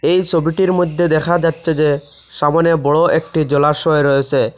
এই সবিটির মইধ্যে দেখা যাচ্ছে যে সামোনে বড় একটি জলাশয় রয়েসে।